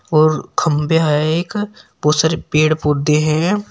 और खंभे है एक बहुत सारे पेड़ पौधे है।